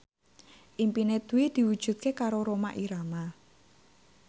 impine Dwi diwujudke karo Rhoma Irama